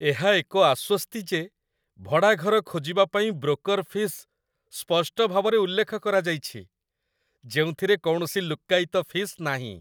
ଏହା ଏକ ଆଶ୍ୱସ୍ତି ଯେ ଭଡ଼ା ଘର ଖୋଜିବା ପାଇଁ ବ୍ରୋକର୍ ଫିସ୍ ସ୍ପଷ୍ଟ ଭାବରେ ଉଲ୍ଲେଖ କରାଯାଇଛି, ଯେଉଁଥିରେ କୌଣସି ଲୁକ୍କାୟିତ ଫିସ୍ ନାହିଁ